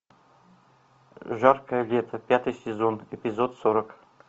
жаркое лето пятый сезон эпизод сорок